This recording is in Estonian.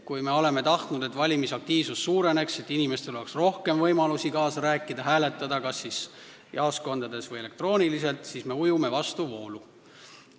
Me oleme tahtnud, et valimisaktiivsus suureneks ja inimestel oleks rohkem võimalusi kaasa rääkida, hääletades kas jaoskondades või elektrooniliselt, aga nüüd me ujume vastuvoolu.